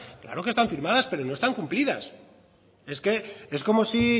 claro que están firmadas pero no están cumplidas es como si